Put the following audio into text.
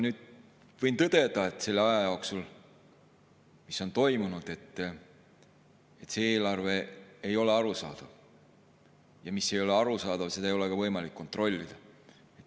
Võin tõdeda, et ajal see eelarve ei ole arusaadav, ja mis ei ole arusaadav, seda ei ole võimalik kontrollida.